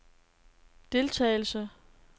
deltagelse